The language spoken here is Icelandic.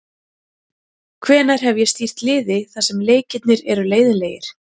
Hvenær hef ég stýrt liði þar sem leikirnir eru leiðinlegir?